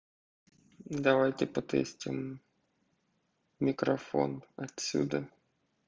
давайте протестируем микрофон отсюда